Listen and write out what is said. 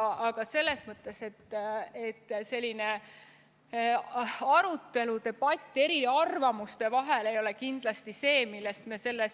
Aga selles mõttes debatt eriarvamuste vahel ei ole kindlasti see, millest me selle